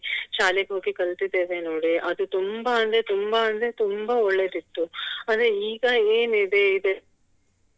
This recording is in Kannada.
ಶಾಲೆಗೆ ಹೋಗಿ ಕಲ್ತಿದ್ದೇವೆ ನೋಡಿ ಅದು ತುಂಬಾ ಅಂದ್ರೆ ತುಂಬಾ ಅಂದ್ರೆ ತುಂಬಾ ಒಳ್ಳೇದಿತ್ತು ಆದ್ರೆ ಇಗ ಏನ್ ಇದೆ